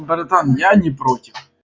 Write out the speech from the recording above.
братан я не против